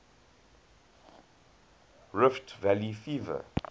rift valley fever